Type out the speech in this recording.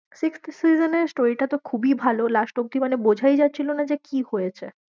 sixth season এর story টা তো খুবই ভালো, last অবধি মানে বোঝাই যাচ্ছিলো না যে কি হয়েছে?